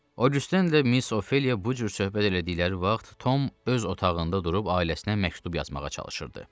Augüstenlə Miss Ofeliya bu cür söhbət elədikləri vaxt Tom öz otağında durub ailəsinə məktub yazmağa çalışırdı.